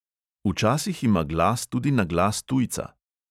Včasih ima glas tudi naglas tujca.